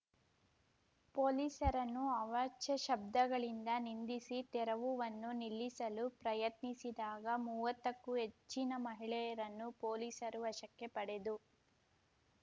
ಪೋಲಿಸರನ್ನು ಅವಾಚ್ಯ ಶಬ್ದಗಳಿಂದ ನಿಂದಿಸಿ ತೆರವುವನ್ನು ನಿಲ್ಲಿಸಲು ಪ್ರಯತ್ನಿಸಿದಾಗ ಮೂವತ್ತಕ್ಕೂ ಹೆಚ್ಚಿನ ಮಹಿಳೆಯರನ್ನು ಪೋಲಿಸರು ವಶಕ್ಕೆ ಪಡೆದು